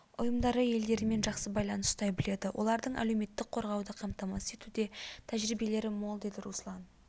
ұйымдары елдерімен жақсы байланыс ұстай біледі олардың әлеуметтік қорғауды қамтамасыз етуде тәжірибелері мол деді руслан